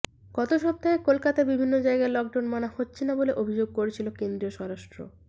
গত সপ্তাহে কলকাতার বিভিন্ন জায়গায় লকডাউন মানা হচ্ছে না বলে অভিযোগ করেছিল কেন্দ্রীয় স্বরাষ্ট্র